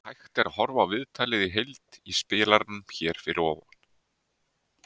Hægt er að horfa á viðtalið í heild í spilaranum hér að ofan.